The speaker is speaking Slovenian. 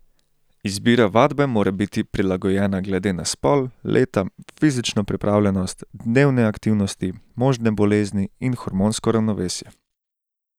Izbira vadbe mora biti prilagojena glede na spol, leta, fizično pripravljenost, dnevne aktivnosti, možne bolezni in hormonsko ravnovesje.